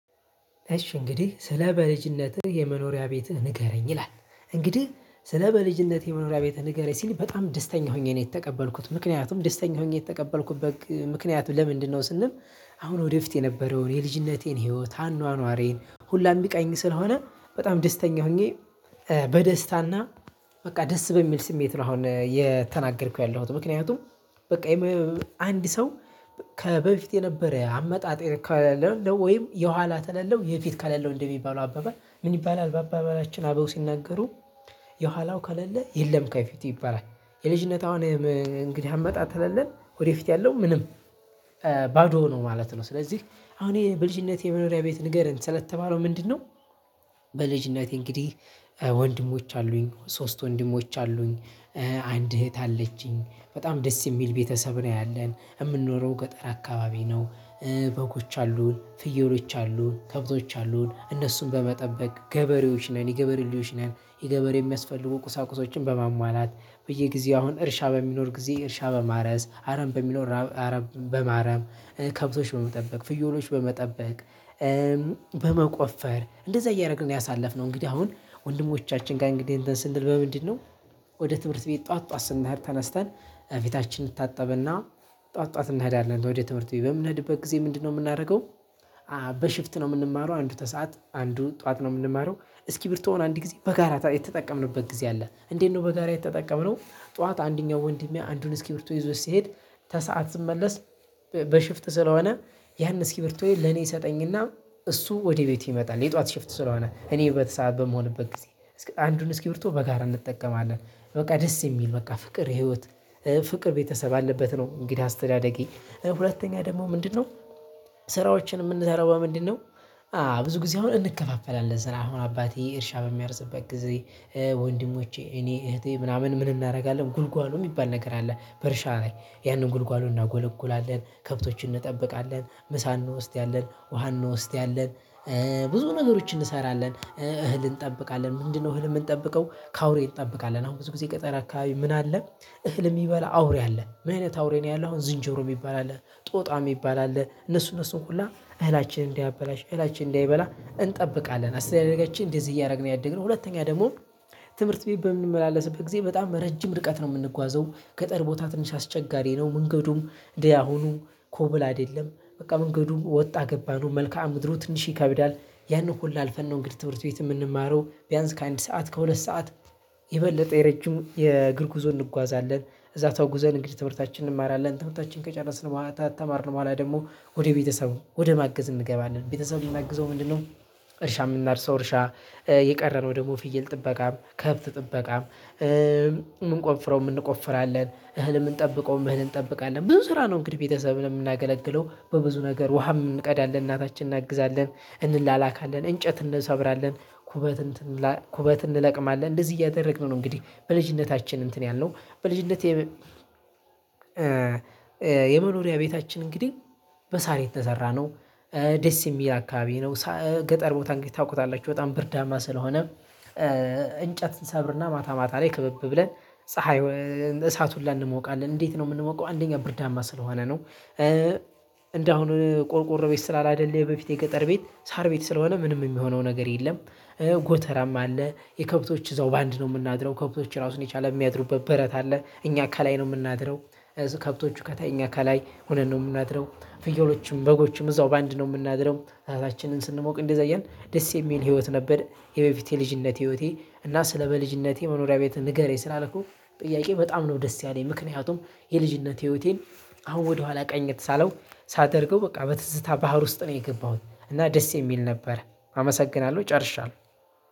እሸ እንግዲህ ስለ በልጅነትህ የመኖሪ ቤትህ ንገረኝ ይላል እንግዲህ ስለ በልጅነቴ መኖሪያ ቤትህ ንገረኝ ሲል በጣም ደስተኛ ሁኔ ነው የተቀበልኩት ምክንያቱም ደስተኛ ሁኔ የተቀበልኩበት ምክንያቱ ለምንድን ነው ስንል? አሁን ወደ ፊት የነበረውን የልጅነቴን ህይወት አኗኗሬን ሁሉ የሚቃኝ ስለሆነ በጣም ደስተኛ ሁኜ። በደስታ እና በቃ ደስ በሚል ስሜት ነው አሁን የተናገርኩት ያለሁት ምክንያቱም። በቃ አንድ ሰው ከበፊት የነበረ አመጣጤ ከሌለው ወይም የኋላ ተለለው የፊት ከሌለው እንደሚባለው አባባል ምን ይባላል በአባበላችን አበው ሲናገሩ። የኋላው ከሌለ የለም ከፊቴ ይባላል። የልጅነት አሁን እንግዲህ አመጣጥ ከለለ ወደፊት ያለው ምንም ባዶ ነው ማለት ነው። ሥለዚህ አሁን በልጅነቴ የመኖሪያ ቤት ንገረን ስለተባለው ምንድነው? በልጅነቴ እንግዲህ ወንድሞች አሉኝ ሶስት ወንድሞች አሉኝ። አንድ እህት አለችኝ በጣም ደስ የሚል ቤተሰብ ነው ያለን የምንኖረው ገጠር አካባቢ ነው። በጎች አሉን ፍየሎች አሉን ከብቶች አሉን እነሱን በመጠበቅ ገበሬዎች ነን የገበሬ ልጆች ነን። የገበሬ የሚያስፈልጉ ቁሳቁሶችን በማሟላት በየጊዜው አሁን እርሻ በሚኖር ጊዜ እርሻ በማረስ አረም በሚኖር አረም በማረም ከብቶች በመጠበቅ ፍየሎች በመጠበቅ። በመቆፈር እንደዛ እያደረግን ነው ያሳለፍነው እንግዲህ አሁን ወንድሞቻችን ጋር እንግዲህ እንተን ስንል በምንድን ነው? ወደ ትምህርት ቤት ጠዋት ጠዋት ስንሄድ ተነስተን ፊታችንን ታጠበ እንታጠብ እና ጠዋት ጠዋት እንሄዳለን ወደ ትምህርት ቤት በምንሄድበት ጊዜ ምንድነው የምናደርገው? በሽፍት ነው የምንማረው አንዱ ከሰአት አንዱን ጠዋት ነው የምንማረው። እስክቢራቶውን አንድ ጊዜ በጋራ የተጠቀምንበት ጊዜ አለ እንዴት ነው በጋራ የተጠቀምነው? ጠዋት አንደኛው ወንድሜ አንዱን እስኪብርቶ ይዞት ሲሄድ። ከሰአት ስመለስ። በሽፍት ስለሆነ ያንን እስኪብርቱዬ ለኔ ይሰጠኝ እና እሱ ወደ ቤቱ ይመጣል የጧት ሽፍት ስለሆነ እኔ በተሰአት በምሆንበት ጊዜ አንዱን እስኪ ብር እስክብሪቶ በጋራ እንጠቀማለን። በቃ ደስ የሚል በቃ ፍቅር ህይወት ፍቅር ቤተሰብ አለበት ነው። እንግዲህ አስተዳደጊ ሁለተኛ ደግሞ ምንድነው? ስራዎችን የምንሰራው በምንድነው? አዎ ብዙ ጊዜ አሁን እንከፋፈላለን ስራ አሁን አባቴ እርሻ በሚያርስበት ጊዜ። ወንድሞቼ እኔ አህቴ ምናምን ምን እናደርጋለን ጉልጓም የሚባል ነገር አለ በእርሻ ላይ ያንን ጉልጓሎ እናጐለጉላለን ከብቶችን እንጠብቃለን ምሳ እንወስዳለን ውሃ እንወስዳለን። ብዙ ነገሮች እንሰራለን እህል እንጠብቃለን ምንድነው እህል የምንጠብቀው ከአውሬ እንጠብቃለን አሁን ብዙ ጊዜ ገጠር አካባቢ ምን አለ? እህል የሚበላ አውሬ አለ ምን አይነት አውሬ ነው ያለው አሁን ዝንጀሮ የሚባል አለ ጦጣ የሚባል አለ እነሱ እነሱን ሁላ እህላችንን እንዲያበላሽ እህላችንን እንዲያበላ እንጠብቃለን። አስደጋጋችን እንደዚህ እያደረግን ያደግን ሁለተኛ ደግሞ። ትምህርት ቤት በምንመላለስበት ጊዜ በጣም ረጅም ርቀት ነው የምንጓዘው ገጠር ቦታ ትንሽ አስቸጋሪ ነው መንገዱም እንደ አሁኑ ኮብል አይደለም በቃ መንገዱም ወጣ ገባ ነው መልካአ ምድሩ ትንሽ ይከብዳል። ያንን ሁሉ አልፈን ነው እንግዲህ ትምህርት ቤት የምንማረው ቢያንስ ከአንድ ሰዓት ከሁለት ሰዓት የበለጠ የረጅም የእግር ጉዞ እንጓዛለን። እዛ ተጉዞን እንዲህ ትምህርታችን እንማራለን ትምህርታችን ከጨረስነ በኋላ ከተማርን በኋላ ደግሞ ወደ ቤተሰብ ወደማገዝ እንገባለን። ቤተሰብን የምናግዘው ለምንድን ነው? እርሻ የምናርሰው እርሻ የቀረነው ደግሞ ፍየል ጥበቃም ከብት ጥበቃም። ምንቆፍረውም እንቆፍራለን እህል የምንጠበቀውም እህል እንጠብቃለን ቡዙ ስራ ነው። እንግዲህ ቤተሰብን የምናገለግለው በብዙ ነገር ውሀም እንቀዳለን እናታችንን እናግዛለን። እንላላካለን እንጨት እንሰብራለ ኲበት ኩበት እንለቅማለን እንደዚህ እያደረግን ነው። እንግዲህ በልጅነታችን እንትን ያልነው በልጅነቴ የመኖሪያ ቤታችን እንግዲህ በሳር የተሰራ ነው። ደስ የሚል አካባቢ ነው ገጠር ቦታ እንግዲህ ታውቁታላችሁ በጣም ብርዳማ ስለሆነም። እንጨት እሰብር እና ማታ ማታ ላይ ክብብ ብለን ፀሀይ እሳት ሁላ እንሞቃለን። እንዴት ነው የምንሞቀው? አንደኛ ብርዳማ ስለሆነ ነው። እንደ አሁን ቆርቆሮ ቤት ስላላደለ የበፊት የገጠር ቤት ሳር ቤት ስለሆነ ምንም የሚሆነው ነገር የለም። ጎተራም አለ የከብቶች እዛው በአንድ ነው የምናድረው ከብቶች ራሱን የቻለ የሚያድሩበት በረት አለ እኛ ከላይ ነው የምናድረው። ከብቶቹ ከታይ እኛ ከላይ ሆነን ነው የምናድረው። ፍየሎቹም በጎቹም እዛው በአንድ ነው የምናድረው ራሳችንን ስንሞቅ እንደዛየን ደስ የሚል ህይወት ነበር። የበፊት የልጅነት ህይወቴ እና ስለ በልጅነቴ መኖሪያ ቤት ንገረኝ ስላልከኝ ጥያቄ በጣም ነው ደስ ያለኝ ምክንያቱም የልጅነት ህይወቴን አሁን ወደኋላ ቀኜት ሳለው ሳደርገው በቃ በትዝታ ባህር ውስጥ ነበረ የገባሁት እና ደስ የሚል ነበረ። አመሰግናለሁ ጨርሻለሁ።